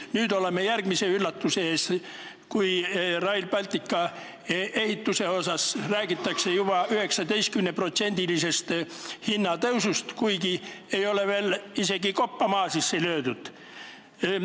Nüüd oleme järgmise üllatuse ees: räägitakse Rail Balticu ehituse hinna juba 19%-lisest tõusust, kuigi isegi koppa ei ole veel maasse löödud.